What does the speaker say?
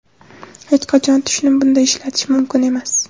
Hech qachon tushni bunday ishlatish mumkin emas.